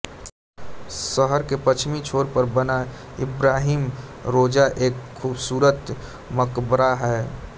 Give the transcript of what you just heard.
शहर के पश्चिमी छोर पर बना इब्राहिम रोजा एक खूबसूरत मकबरा है